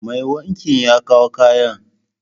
Mai wanki ya kawo kayana.